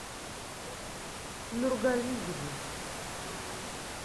нургалиевой